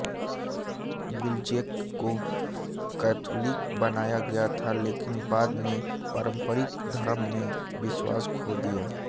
Wilczek को Catholic बनाया गया था लेकिन बाद में पारंपरिक धर्म में विश्वास खो दिया